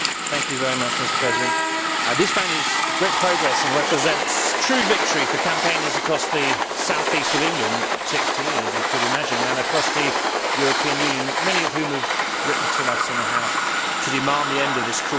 Mr President, this ban is great progress and represents a true victory for campaigners across the South East of England particularly as you could imagine and across the European Union, many of whom have written to us in the House to demand the end of this cruel trade.